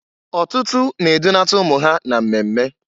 Ọtụtụ na-edunata ụmụ ha na mmemme.